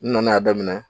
N nana daminɛ